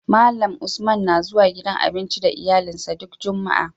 Malan Usman na zuwa gidan abinci da iyalin sa duk jumaa